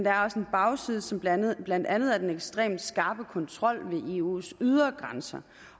er også en bagside som blandt blandt andet er den ekstremt skarpe kontrol ved eus ydre grænser